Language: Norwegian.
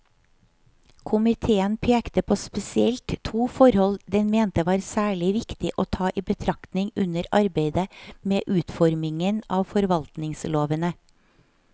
Komiteen pekte på spesielt to forhold den mente var særlig viktig å ta i betraktning under arbeidet med utformingen av forvaltningslovene.